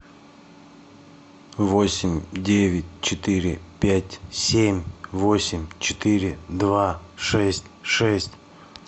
восемь девять четыре пять семь восемь четыре два шесть шесть